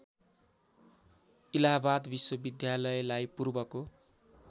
इलाहाबाद विश्वविद्यालयलाई पूर्वको